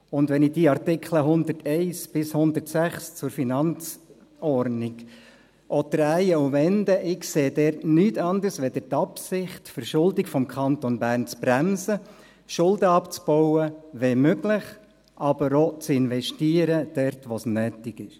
Wenn ich diese Artikel 101 bis 106 zur Finanzordnung auch drehe und wende, ich sehe dort nichts anderes als die Absicht, die Verschuldung des Kantons Bern zu bremsen, Schulden abzubauen, wenn möglich aber auch dort zu investieren, wo es nötig ist.